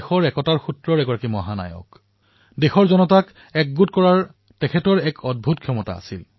চৰ্দাৰ পেটেলৰ সমগ্ৰ জনসাধাৰণকে একত্ৰিত কৰাৰ ক্ষমতা আছিল